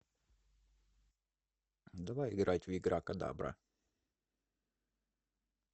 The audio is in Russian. давай играть в игра кодабра